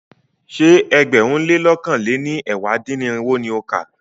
Ṣé ẹgbẹ̀rún lé lọ̀kan lé ní ẹ̀wá dín-ní-irinwó ni o kà?